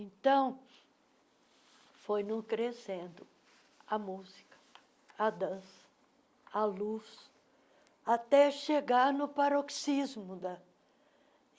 Então, foi não crescendo a música, a dança, a luz, até chegar no paroxismo da.